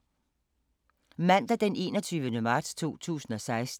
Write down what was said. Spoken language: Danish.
Mandag d. 21. marts 2016